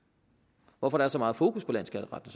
hvorfor er så meget fokus på landsskatteretten